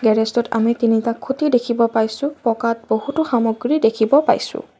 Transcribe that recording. গেৰেজটোত আমি তিনিটা খুঁটি দেখিব পাইছোঁ পকাত বহুতো সামগ্ৰী দেখিব পাইছোঁ।